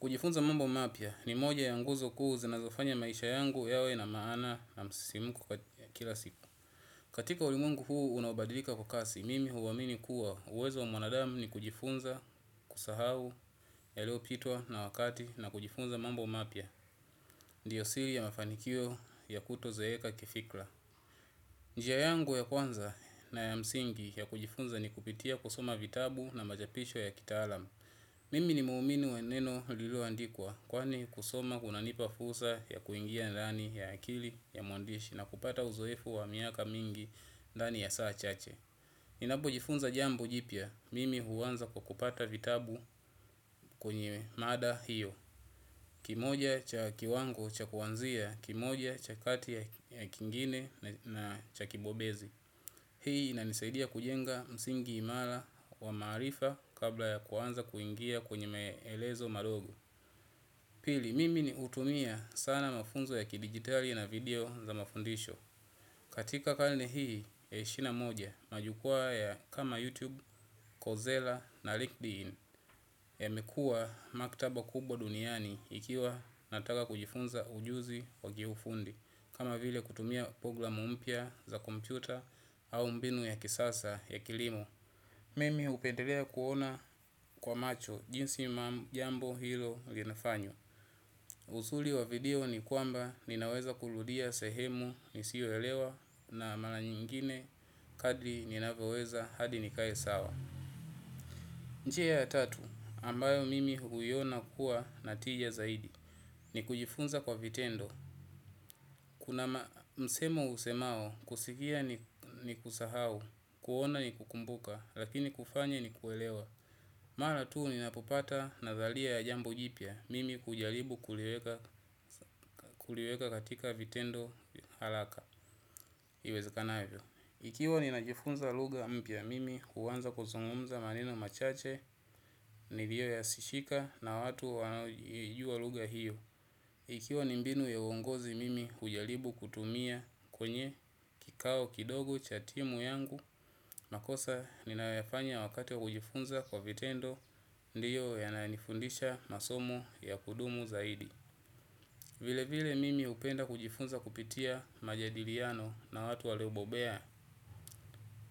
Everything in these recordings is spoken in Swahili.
Kujifunza mambo mapya ni moja ya nguzo kuu zinazofanya maisha yangu yawe na maana na msisimko kila siku. Katika ulimwengu huu unaobadilika kwa kasi, mimi huwa amini kuwa uwezo wa mwanadamu ni kujifunza kusahau ya lio pitwa na wakati na kujifunza mambo mapya. Ndiyo siri ya mafanikio ya kuto zaeka kifikra. Njia yangu ya kwanza na ya msingi ya kujifunza ni kupitia kusoma vitabu na machapisho ya kitaalam. Mimi ni muumini wa neno lilo andikwa, kwani kusoma kunanipa fursa ya kuingia ndani ya akili ya mwandishi na kupata uzoefu wa miaka mingi ndani ya saa chache. Ninapo jifunza jambo jipya, mimi huwanza kwa kupata vitabu kwenye mada hiyo, kimoja cha kiwango cha kuanzia, kimoja cha kati ya kingine na cha kibobezi. Hii inanisaidia kujenga msingi imara wa marifa kabla ya kuanza kuingia kwenye meelezo madogo. Pili, mimi ni hutumia sana mafunzo ya kidijitali na video za mafundisho. Katika karne hii ya ishirini na moja majukwa ya kama YouTube, Kozela na LinkedIn ya mekua maktaba kubwa duniani ikiwa nataka kujifunza ujuzi wa kiufundi. Kama vile kutumia program mpya za kompyuta au mbinu ya kisasa ya kilimo. Mimi hupendelea kuona kwa macho jinsi jambo hilo linafanywa. Uzuri wa video ni kwamba ninaweza kurudia sehemu nisiyoelewa na mara nyingine kadri ninavyoweza hadi nikae sawa njia ya tatu ambayo mimi huiona kuwa na tija zaidi. Ni kujifunza kwa vitendo. Kuna msemo husemao, kusikia ni kusahau, kuona ni kukumbuka, lakini kufanya ni kuelewa. Mara tuu ninapopata nadhalia ya jambo jipya, mimi hujaribu kuliweka katika vitendo haraka. Iwezakanavyo. Ikiwa ninajifunza lugha mpya mimi, huanza kuzungumza maneno machache, niliyo yasishika na watu wanaoijua lugha hiyo. Ikiwa ni mbinu ya uongozi mimi hujaribu kutumia kwenye kikao kidogo cha timu yangu, makosa ninayoyafanya wakati wa kujifunza kwa vitendo, ndiyo ya na nifundisha masomo ya kudumu zaidi. Vile vile mimi hupenda kujifunza kupitia majadiliano na watu walio bobea.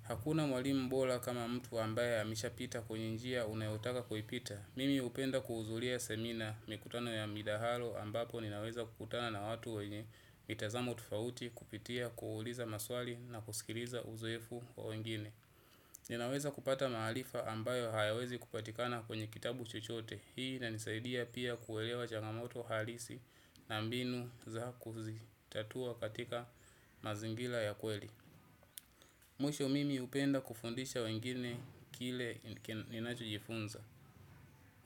Hakuna mwalimu bora kama mtu ambaye amesha pita kwenye njia unayotaka kui pita. Mimi hupenda kuhudhuria semina mikutano ya midahalo ambapo ninaweza kukutana na watu wenye mitazamo tofauti kupitia kuuliza maswali na kusikiliza uzoefu wa wengine. Ninaweza kupata maharifa ambayo hayawezi kupatikana kwenye kitabu chochote. Hii inanisaidia pia kuelewa changamoto halisi na mbinu za kuzitatua katika mazingira ya kweli. Mwisho mimi hupenda kufundisha wengine kile ninacho jifunza.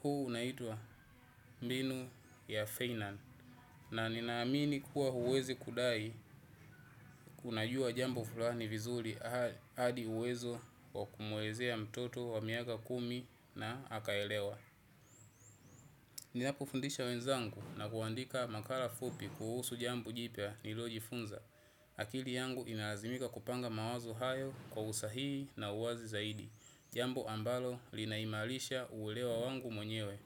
Huu unaitwa mbinu ya Feynand. Na nina amina kuwa huwezi kudai unajua jambo fulani vizuri hadi uwezo wa kumwelezea mtoto wa miaka kumi na akaelewa ninapo fundisha wenzagu navyoandika makala fupi kuhusu jambo jipya nliyo jifunza akili yangu inalazimika kupanga mawazo hayo kwa usahihi na uwazi zaidi. Jambo ambalo linaimarisha uwela wangu mwenyewe.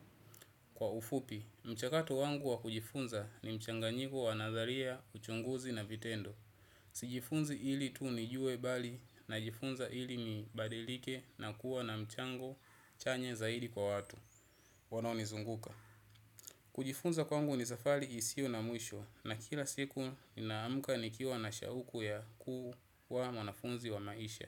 Kwa ufupi, mchakato wangu wa kujifunza ni mchanganyiko wa nazaria, uchunguzi na vitendo. Sijifunzi ili tu nijue bali na jifunza ili ni badilike na kuwa na mchango chanya zaidi kwa watu wanaonizunguka. Kujifunza kwangu ni safari isiyo na mwisho. Na kila siku naamka nikiwa na shauku ya kuwa mwanafunzi wa maisha.